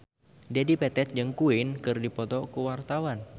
Dedi Petet jeung Queen keur dipoto ku wartawan